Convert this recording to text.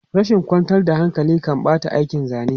Rashin kwantar da hankali kan ɓata aikin zane.